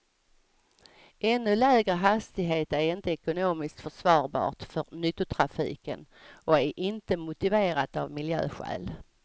Ännu lägre hastighet är inte ekonomiskt försvarbart för nyttotrafiken och är inte motiverat av miljöskäl.